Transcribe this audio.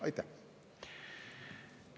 Aitäh!